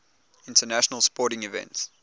international sporting events